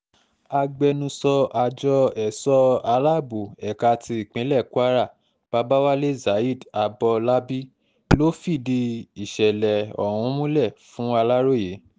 agbẹnusọ àjọ èso aláàbọ̀ ẹ̀ka ti ìpínlẹ̀ kwara babawalé zaid abọlábí ló fìdí ìṣẹ̀lẹ̀ ọ̀hún múlẹ̀ fún aláròye